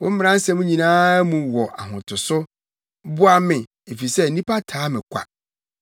Wo mmara nsɛm nyinaa mu wɔ ahotoso; boa me, efisɛ nnipa taa me kwa.